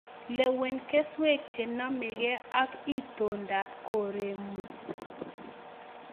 Lewen keswek chenomeke ak itondap koreng'ung'.